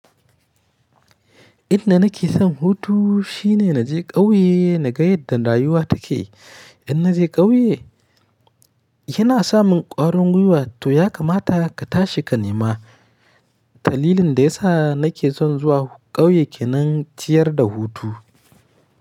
Inda nake son hutu shine naje ƙauye naga yadda rayuwa take. In naje ƙauye, yana samin ƙwarin gwiwa to ya kamata ka tashi ka nema. Talilin da ya sa nake son zuwa ƙauye kenan ciyar da hutu.